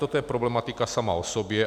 Toto je problematika sama o sobě.